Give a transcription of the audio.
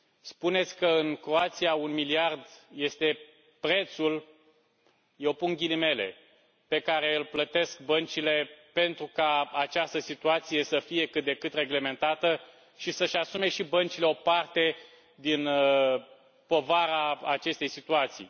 Spuneți că în Croația un miliard este prețul eu pun ghilimele pe care îl plătesc băncile pentru ca această situație să fie cât de cât reglementată și să și asume și băncile o parte din povara acestei situații.